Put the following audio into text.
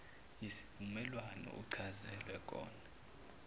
yisivumelwano uchazelwe kona